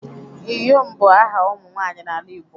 Iyom bu aha umu nwanyi n'ala Igbo